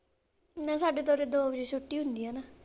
ਨਹੀਂ ਸਾਡੇ ਤਾਂ ਉਰੇ ਦੋ ਵਜੇ ਛੁੱਟੀ ਹੁੰਦੀ ਆਨਾ।